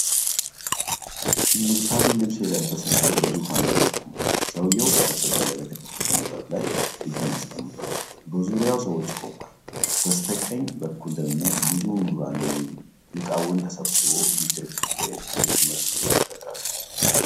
ንጉሣዊ ልብስ የለበሰ ሰው በዙፋን ላይ ተቀምጧል። ሰውየው ጠረጴዛ ላይ በተከፈተ መጽሐፍ ላይ እጁን አስቀምጧል። በዙሪያው ሰዎች ቆመዋል። በስተቀኝ በኩል ደግሞ ብዙ ምሁራን ወይም ሊቃውንት ተሰብስበው የክርክር ወይም የትምህርት ድባብ ይፈጥራሉ።